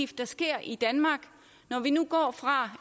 der sker i danmark når vi nu går fra